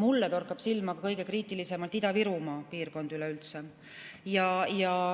mulle torkab kõige kriitilisemalt silma Ida-Virumaa piirkond.